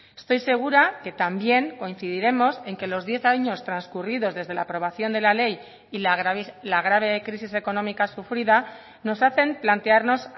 estoy segura que también coincidiremos en que los diez años transcurridos desde la aprobación de la ley y la grave crisis económica sufrida nos hacen plantearnos